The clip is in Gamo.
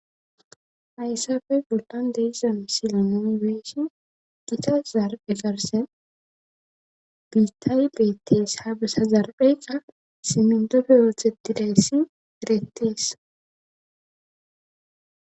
Ayssafe goldan deiszam silonoomi beessi gita zarbhe garse biittaawi beettees ha besa zarpheyka simindofe ooththetidayssi derettees